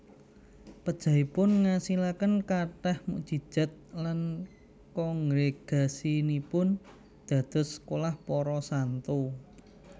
Pejahipun ngasilaken kathah mukjizat lan kongregasinipun dados sekolah para santo